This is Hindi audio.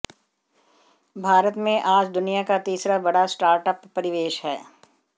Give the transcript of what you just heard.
भारत में आज दुनिया का तीसरा बड़ा स्टार्टअप परिवेश है